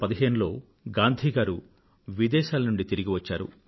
1915 లో గాంధీ గారు విదేశాల నుండి తిరిగివచ్చారు